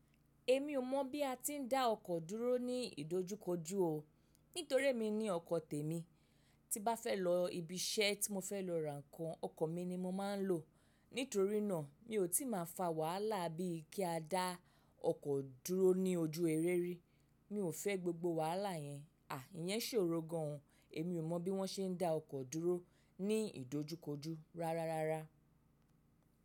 Èmi ò mọ̀ bí a ti ń dá ọkọ̀ dúró ní ìdojúkojú o. Nítorí emi ní ọkọ̀ tèmi, tí bá fẹ́ lọ ibi iṣẹ́ tí mo fẹ́ lọ rà ǹkan ọkọ̀ mi ni mo máa ń lò. Nítorí náà mi ò tí ì má fa wàhálà bí i kí a dá ọkọ̀ dúró ní ojú eré rí. Mi ò fẹ́ gbogbo wàhálà yẹn. À, ìyẹn ṣòro gan an. Èmi ò mọ̀ bí wọ́n ṣe ń dá ọkọ̀ dúró ní ìdojúkojú rárá rárá.